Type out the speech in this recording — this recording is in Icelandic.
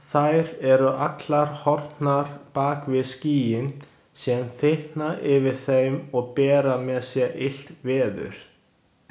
Þær eru allar horfnar bak við skýin sem þykkna yfir þeim og bera með sér illt veður.